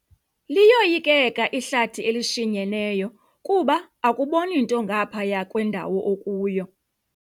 Liyoyikeka ihlathi elishinyeneyo kuba akuboni nto ngaphaya kwendawo okuyo.